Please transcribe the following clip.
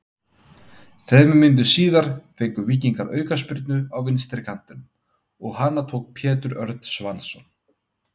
Þremur mínútum síðar fengu Víkingar aukaspyrnu á vinstri kantinum og hana tók Pétur Örn Svansson.